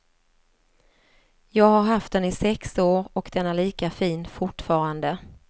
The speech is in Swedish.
Jag har haft den i sex år och den är lika fin fortfarande.